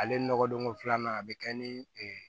Ale nɔgɔ don ko filanan a be kɛ ni